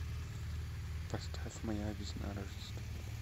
поставь моя весна рождество